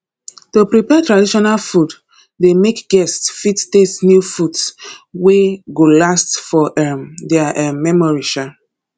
to prepare traditional food de make guest fit taste new foods wey go last for um their um memory um